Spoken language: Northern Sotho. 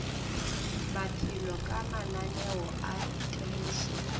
maphelo ka mananeo a temošo